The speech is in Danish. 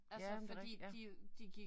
Ja men det rigtigt ja